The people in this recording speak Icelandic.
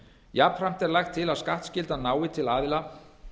jafnframt er lagt til að skattskyldan nái til aðila